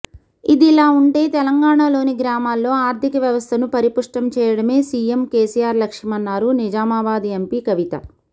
ఇదిలా ఉంటే తెలంగాణలోని గ్రామాల్లో ఆర్థిక వ్యవస్థను పరిపుష్టం చేయడమే సీఎం కేసీఆర్ లక్ష్యమన్నారు నిజామాబాద్ ఎంపీ కవిత